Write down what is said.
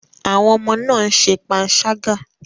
Àwọn ọmọ náà ń ṣe panṣágà.